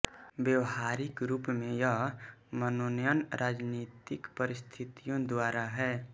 व्यावहारिक रूप में यह मनोनयन राजनीतिक परिस्थितियों द्वारा है